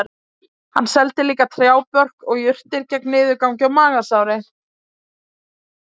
Hann seldi líka trjábörk og jurtir gegn niðurgangi og magasári